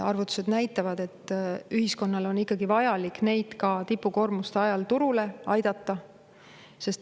Arvutused näitavad, et ühiskonnale on ikkagi vajalik neid aidata, et nad tipukoormuste ajal turul.